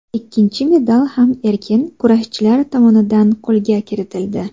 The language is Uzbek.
Ikkinchi medal ham erkin kurashchilar tomonidan qo‘lga kiritildi.